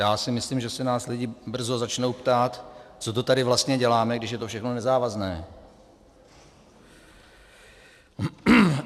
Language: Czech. Já si myslím, že se nás lidi brzy začnou ptát, co to tady vlastně děláme, když je to všechno nezávazné.